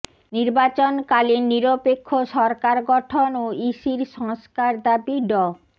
নির্বাচনকালীন নিরপেক্ষ সরকার গঠন ও ইসির সংস্কার দাবি ড